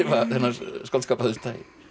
skáldskap af þessu tagi